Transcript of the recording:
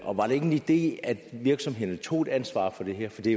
og var det ikke en idé at virksomhederne tog et ansvar for det her for det